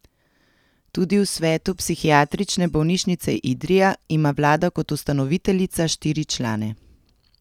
Tudi v svetu Psihiatrične bolnišnice Idrija ima vlada kot ustanoviteljica štiri člane.